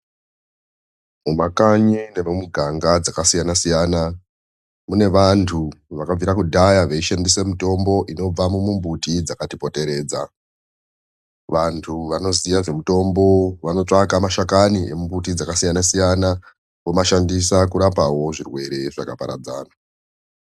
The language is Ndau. Mumakanyi nemimiganga dzakasiyana siyana mune vantu vakabvira kudhaya veishandise mitombo inobvamumimbitidzakatipoteredza vantu vaoziye zvemutombo vanotsvaka madhakani emumbuti dzakasiyana omashandisa kurapawo zvirwere zvakapadzana.